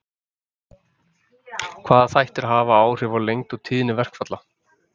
hvaða þættir hafa áhrif á lengd og tíðni verkfalla